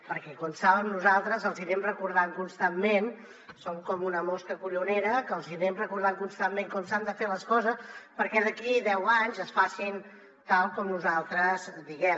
perquè com saben nosaltres els hi anem recordant constantment som com una mosca collonera que els hi anem recordant constantment com s’han de fer les coses perquè d’aquí deu anys es facin tal com nosaltres diem